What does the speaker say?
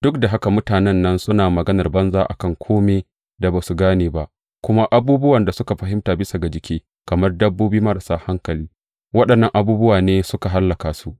Duk da haka mutanen nan suna maganar banza a kan kome da ba su gane ba; kuma abubuwan da suka fahimta bisa ga jiki, kamar dabbobi marasa hankali, waɗannan abubuwa ne suke hallaka su.